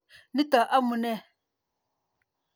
Nitok amunee.